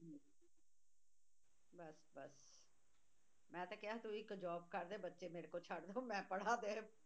ਮੈਂ ਤਾਂ ਕਿਹਾ ਉਹ ਇੱਕ job ਕਰਦੇ ਬੱਚੇ ਮੇਰੇ ਕੋਲ ਛੱਡ ਦਓ ਮੈਂ ਪੜ੍ਹਾ ਦਿਆ